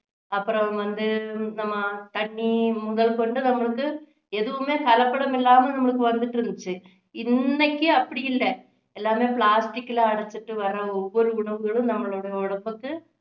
அப்பறம் வந்து நம்ம தண்ணி முதல் கொண்டு நம்மளுக்கு எதுவுமே கலப்படம் இல்லாம நம்மளுக்கு வந்துட்டு இருந்திச்சு இன்னைக்கு அப்படி இல்லை எல்லாமே plastic ல அடச்சிட்டு வர்ற ஒவ்வொரு உணவுகளும் நம்மளோட உடம்புக்கு